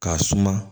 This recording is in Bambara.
K'a suma